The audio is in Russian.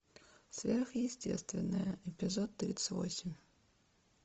сверхъестественное эпизод тридцать восемь